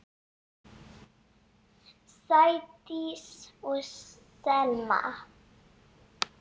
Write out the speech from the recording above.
Sædís og Selma.